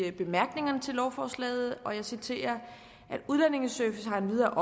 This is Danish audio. i bemærkningerne til lovforslaget og jeg citerer at udlændingeservice har endvidere